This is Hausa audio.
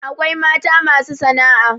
akwai mata masu sana'a